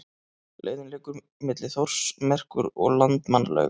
Leiðin liggur milli Þórsmerkur og Landmannalauga.